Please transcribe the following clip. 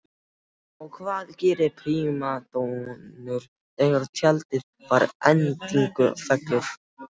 Og hvað gera prímadonnur þegar tjaldið að endingu fellur?